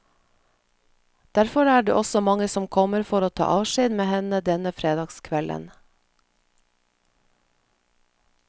Derfor er det også mange som kommer for å ta avskjed med henne denne fredagskvelden.